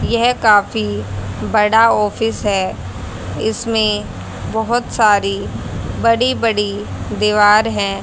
यह काफी बड़ा ऑफिस है इसमें बहुत सारी बड़ी बड़ी दीवार है।